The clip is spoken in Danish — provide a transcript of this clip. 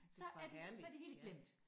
Så er det så det hele glemt